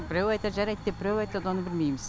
біреу айтат жарайд деп біреу айтат оны білмейміз